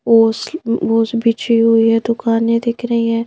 ओस बिची हुई है दुकानें दिख रही है।